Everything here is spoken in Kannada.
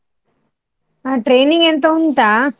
ಹ್ಮ್ training ಎಂತ ಉಂಟಾ?